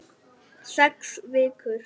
Sex vikur.